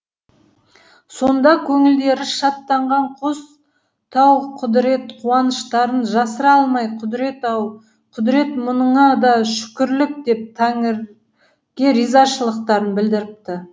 сонда көңілдері шаттанған қос тау құдірет қуаныштарын жасыра алмай құдірет ау құдірет мұныңа да шүкірлік деп тәңірге ризашылықтарын білдіріпті